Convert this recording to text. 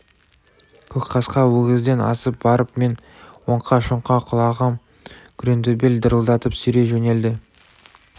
көкқасқа өгізден асып барып мен оңқа-шоңқа құлағам күреңтөбел дырылдатып сүйрей жөнелді